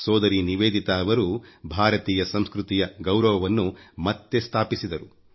ಸೋದರಿ ನಿವೇದಿತಾರವರು ಭಾರತೀಯ ಸಂಸ್ಕೃತಿಯ ಗೌರವವನ್ನು ಮತ್ತೆ ಸ್ಥಾಪಿಸಿದರು